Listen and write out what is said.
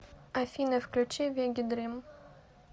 афина включи вегедрим